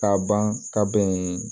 Ka ban ka bɛn